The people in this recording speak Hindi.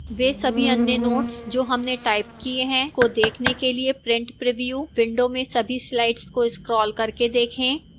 वह सभी अन्य notes जो हमने टाइप किए हैं को देखने के लिए print preview window में सभी slides को scroll करके देखें